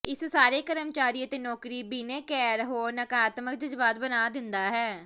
ਇਸ ਸਾਰੇ ਕਰਮਚਾਰੀ ਅਤੇ ਨੌਕਰੀ ਬਿਨੈਕਾਰ ਹੋਰ ਨਕਾਰਾਤਮਕ ਜਜ਼ਬਾਤ ਬਣਾ ਦਿੰਦਾ ਹੈ